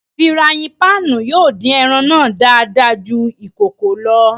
Firàyin pạạnu yóò din ẹran náa dàada jù ikòkò lọ.